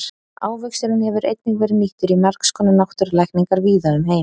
ávöxturinn hefur einnig verið nýttur í margs konar náttúrulækningar víða um heim